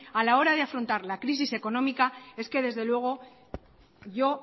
a la hora de afrontar la crisis económica es que desde luego yo